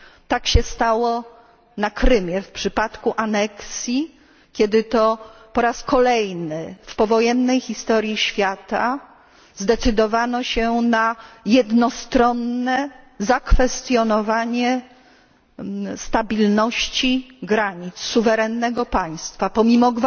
Tak się stało na Krymie w przypadku aneksji, kiedy to po raz kolejny w powojennej historii świata zdecydowano się na jednostronne zakwestionowanie stabilności granic suwerennego państwa, pomimo